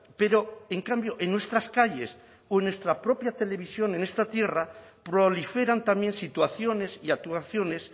pero en cambio en nuestras calles o en nuestra propia televisión en esta tierra proliferan también situaciones y actuaciones